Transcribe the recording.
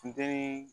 Funteni